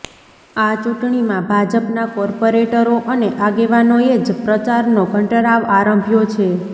આ ચૂંટણીમાં ભાજપના કોર્પોરેટરો અને આગેવાનોએ જ પ્રચારનો ઘંટારવ આરંભ્યો છે